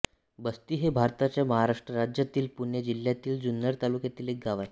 बस्ती हे भारताच्या महाराष्ट्र राज्यातील पुणे जिल्ह्यातील जुन्नर तालुक्यातील एक गाव आहे